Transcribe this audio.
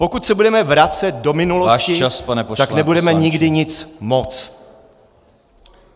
Pokud se budeme vracet do minulosti , tak nebudeme nikdy nic moct.